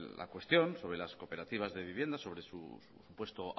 la cuestión sobre las cooperativas de vivienda sobre su supuesto